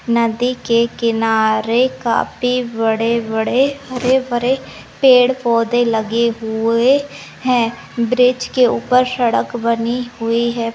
नदी के किनारे काफी बड़े बड़े हरे भरे पेड़ पोधे लगे हुवे है ब्रिज के ऊपर सड़क बनी हुई है।